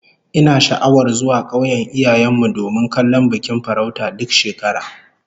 Ina sha'awar zuwa kauyen iyayen mu domin kallon bikin farauta duk shekara